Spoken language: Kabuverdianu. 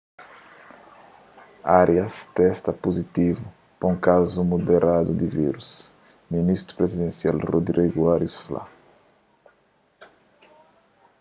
arias testa puzitivu pa un kazu muderadu di vírus ministru prizidensial rodrigo arias fla